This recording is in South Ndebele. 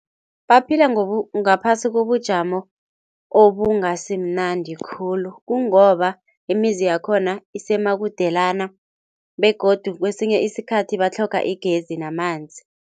Baphila ngaphasi kobujamo obungasi mnandi khulu kungoba imizi yakhona nisemakudelana, begodu kwesinye isikhathi batlhoga igezi namanzi.